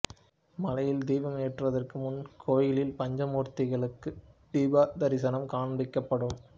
மலையில் தீபம் ஏற்றுவதற்கு முன்பு கோயிலில் பஞ்சமூர்த்திகளுக்குத் தீபதரிசனம் காண்பிக்கப்படும்